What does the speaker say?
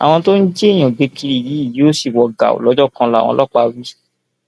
àwọn tó ń jí èèyàn gbé kiri yìí yóò sì wọ gàù lọjọ kan làwọn ọlọpàá wí